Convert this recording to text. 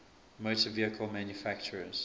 motor vehicle manufacturers